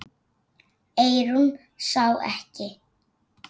Eyrún sá ekki.